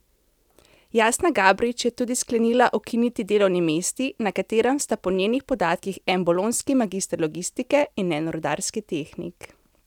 Jasna Gabrič je tudi sklenila ukiniti delovni mesti, na katerem sta po njenih podatkih en bolonjski magister logistike in en rudarski tehnik.